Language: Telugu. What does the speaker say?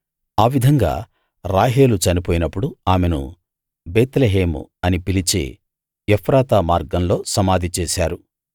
ఆ విధంగా రాహేలు చనిపోయినప్పుడు ఆమెను బేత్లెహేము అని పిలిచే ఎఫ్రాతా మార్గంలో సమాధి చేశారు